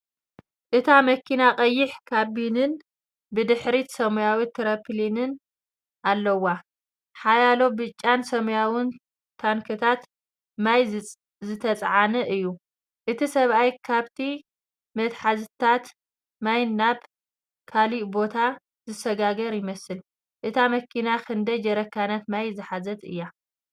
እታ መኪና ቀይሕ ካቢንን ብድሕሪት ሰማያዊ ተርፖሊንን ኣለዋ። ሓያሎ ብጫን ሰማያውን ታንክታት ማይ ዝተጻዕነ እዩ። እቲ ሰብኣይ ካብቲ መትሓዚታት ማይ ናብ ካልእ ቦታ ዘሰጋግር ይመስል። እታ መኪና ክንደይ ጀረካናት ማይ ዝሓዘት እያ?